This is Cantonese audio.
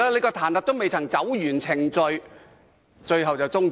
彈劾程序未能完成，便要終止。